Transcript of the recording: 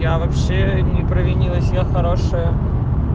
я вообще не провинилась я хорошая